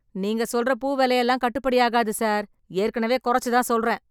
நீங்க சொல்ற பூ வெலை எல்லாம் கட்டுப்படியாகாது சார், ஏற்கனவே கொறச்சுத் தான் சொல்றேன்.